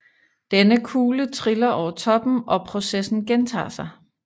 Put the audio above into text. Denne kugle triller over toppen og processen gentager sig